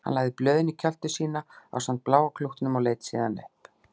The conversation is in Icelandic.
Hún lagði blöðin í kjöltu sína ásamt bláa klútnum og leit síðan upp.